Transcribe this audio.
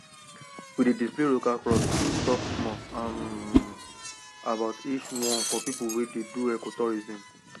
we dey display local crops and talk small um about each one for people wey dey do ecotourism